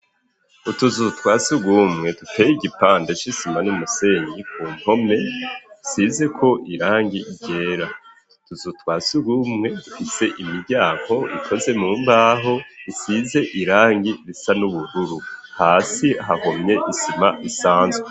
Utuzu twas ugumwe duteye igipande c'isima n'umusenyi kumpome isizeko irangi ryera, ututwasugumwe dufise imiryango ikoze mu mbaho isize irangi risa n'ubururu hasi hahomye isima isanzwe.